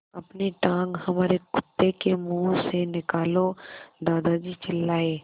अपनी टाँग हमारे कुत्ते के मुँह से निकालो दादाजी चिल्लाए